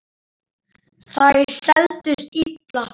Þær seldust illa.